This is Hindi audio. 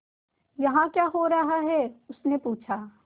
यहाँ क्या हो रहा है उसने पूछा